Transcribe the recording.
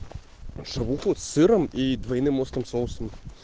шавуху с сыром и двойным острым соусом